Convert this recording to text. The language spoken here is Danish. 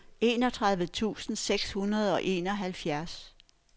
enogtredive tusind seks hundrede og enoghalvfjerds